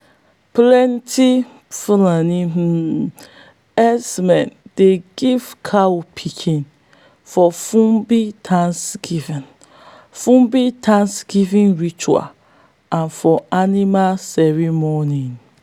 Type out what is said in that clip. plenti fulani um herdsmen dey give cow pikin for fulbe thanksgiving fulbe thanksgiving ritual and for animal ceremony.